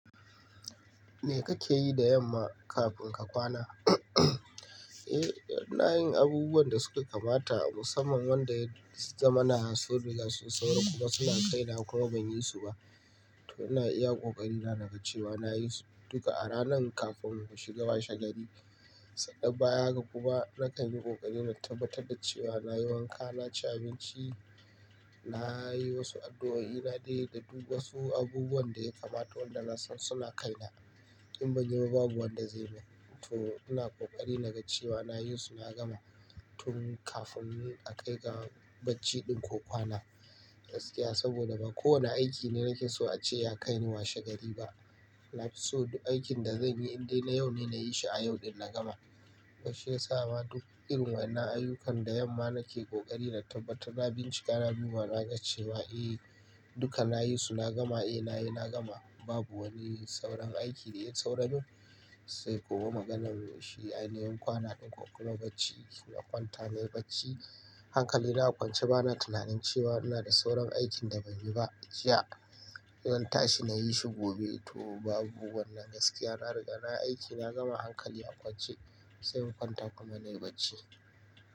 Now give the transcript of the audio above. Me kake yi da yamma kafin ka kwana? Eh, ina yin abubuwan da suka kamata musamman wanda yazamana sun riga sun saura kuma suna kai na kuma ban yi su ba. To ina iya kokari na gaccewa na yi su duka a ranan kafin mu shiga washe gari. Sannan bayan haka kuma na kan yi kokari na tabbatar da cewa na yi wanka, na ci abinci, na yi wasu addu'o'i, na dai duba wasu abubuwan da ya kamata wanda na san suna kai na. In ban yi ba babu wanda zai mun. To ina kokari na ga cewa na yi su na gama tun kafin a kai ga bacci ɗin ko kwana. Gaskiya saboda ba kowane aiki ne nake so ace ya kai ni washe gari ba. So duk aikin da zanyi in dai na yau ne nayi shi a yau ɗin na gama. To shiyasama duk irin waɗannan ayyukan da yamma nake kokari na tabbatar na bincika naduba na gaccewa, eh duka na yi su na gama, eh nayi na gama. Babu wani sauran aiki da ya sauramun. Sai kuma maganar shi ainihin kwana ɗin ko kuma bacci. Na kwanta nayi bacci. Hankali na a kwance bana tunanin cewa ina da sauran aikin da ban yi ba jiya zan tashi na yi shi gobe. To babu wannan gaskiya. Na riga na aiki na gama hankali a kwance sai in kwanta kuma nayi bacci.